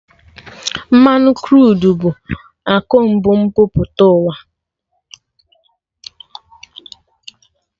Mmanụ Kruud bụ akụ mbu mpụta ụwa